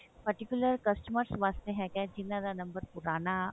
particular customer ਵਾਸਤੇ ਹੈਗਾ ਜਿਹਨਾਂ ਦਾ ਨੰਬਰ ਪੁਰਾਣਾ